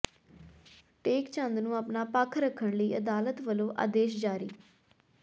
ਟੇਕ ਚੰਦ ਨੂੰ ਆਪਣਾ ਪੱਖ ਰੱਖਣ ਲਈ ਅਦਾਲਤ ਵੱਲੋਂ ਆਦੇਸ਼ ਜਾਰੀ